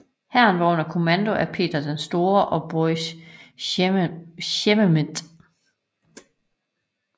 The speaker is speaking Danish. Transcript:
Hæren var under kommando af Peter den Store og Boris Sheremetev